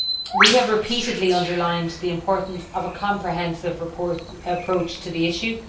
We have repeatedly underlined the importance of a comprehensive approach to the issue.